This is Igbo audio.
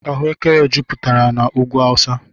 Ahụekere juputere n' úgwú awusa.